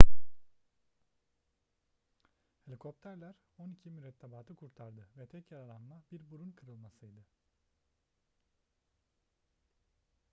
helikopterler on iki mürettebatı kurtardı ve tek yaralanma bir burun kırılmasıydı